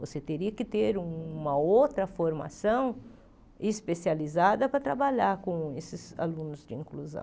Você teria que ter um uma outra formação especializada para trabalhar com esses alunos de inclusão.